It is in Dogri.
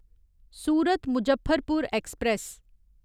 सूरत मुजफ्फरपुर ऐक्सप्रैस